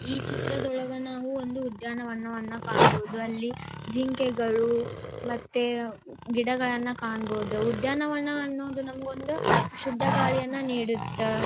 ಈ ಚಿತ್ರದೊಳಗ ನಾವು ಒಂದು ಉದ್ಯಾನವನ್ನು ಕಾಣಬಹುದು . ಅಲ್ಲಿ ಜಿಂಕೆಗಳು ಮತ್ತೆ ಗಿಡಗಳನ್ನು ಕಾಣಬಹುದು. ಉದ್ಯಾನವನ ಅನ್ನೋದು ನಮಗೊಂದು ಶುದ್ಧ ಗಾಳಿಯನ್ನು ನೀಡುತ್ತ.